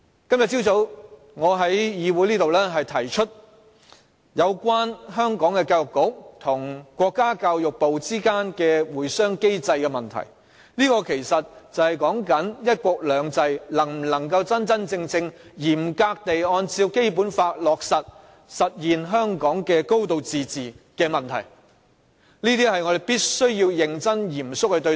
今早我在本議會提出有關香港教育局及國家教育部之間的會商機制的問題，這其實涉及"一國兩制"能否真真正正嚴格地按照《基本法》落實以實現香港"高度自治"的問題，這點我們必須要認真及嚴肅對待。